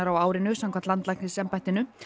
á árinu samkvæmt landlæknisembættinu